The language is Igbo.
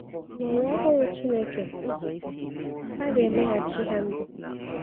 N’ụwa ọhụrụ Chineke, a ga-emeghachi ha ndụ.